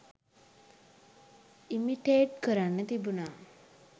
Imitate කරන්න තිබුණා.